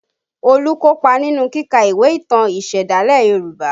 Olu kopa nínú kíka ìwé ìtàn ìsẹ̀dálẹ̀ Yoruba